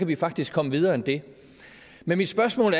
vi faktisk komme videre end det men mit spørgsmål